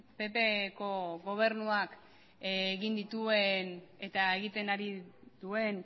ppko gobernuak egin dituen eta egiten ari duen